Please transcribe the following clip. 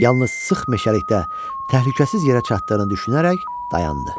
Yalnız sıx meşəlikdə təhlükəsiz yerə çatdığını düşünərək dayandı.